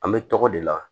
An bɛ tɔgɔ de la